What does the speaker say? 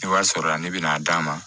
Ni wari sɔrɔla ne bɛ n'a d'a ma